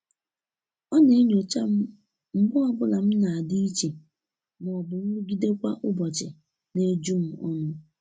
ọ na enyocha m mgbe ọbụla m na-adi iche ma ọbụ nrụgide kwa ụbochi na-ejum ọnụ